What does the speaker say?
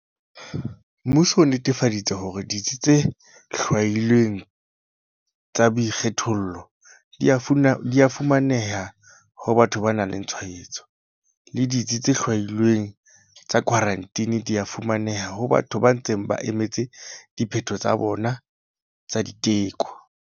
Mmuso o netefaditse hore ditsi tse hlwailweng tsa boikgethollo di a fumaneha ho batho ba nang le tshwaetso, le ditsi tse hlwailweng tsa khwarantine di a fumaneha ho batho ba ntseng ba emetse diphetho tsa bona tsa diteko.